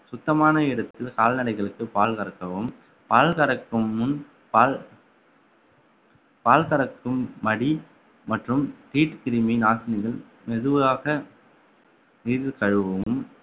சுத்தமான இடத்தில் கால்நடைகளுக்கு பால் கறக்கவும் பால் கறக்கும் முன் பால் பால் கறக்கும் மடி மற்றும் தீட்டு கிருமி நாசினிகள் மெதுவாக மீது கழுவவும்